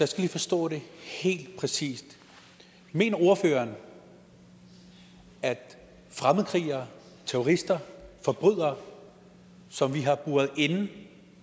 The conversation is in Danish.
skal lige forstå det helt præcist mener ordføreren at fremmedkrigere terrorister forbrydere som vi har buret inde